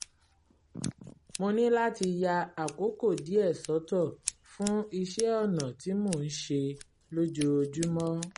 mo ní láti ya àkókò díẹ̀ sọ́tọ̀ fún iṣẹ́ ọnà tí mò ń ṣe lójoojúmọ́